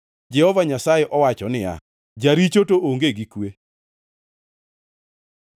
Jehova Nyasaye owacho niya, “Jaricho to onge gi kwe.”